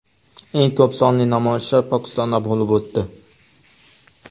Eng ko‘p sonli namoyishlar Pokistonda bo‘lib o‘tdi.